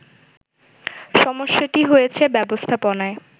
সমস্যাটি হয়েছে ব্যবস্থাপনায়